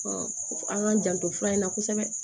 an k'an janto fura in na kosɛbɛ